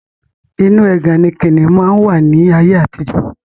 Inu ẹgàn ni kìnnìún máa ń wà ní ayé àtijọ́